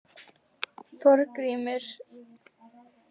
Þorgrímur